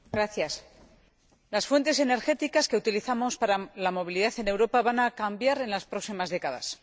Señor Presidente, las fuentes energéticas que utilizamos para la movilidad en Europa van a cambiar en las próximas décadas.